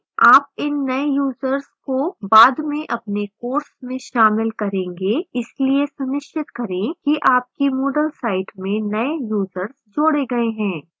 आप इन नए यूजर्स को बाद में अपने course में शामिल करेंगे इसलिए सुनिश्चित करें कि आपकी moodle site में नए यूजर्स जोड़े गए हैं